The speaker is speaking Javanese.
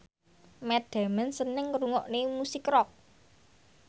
Matt Damon seneng ngrungokne musik rock